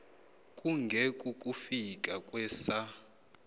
kunge kukufika kwesa